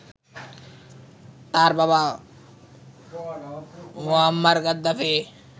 তার বাবা Muammar Gaddafi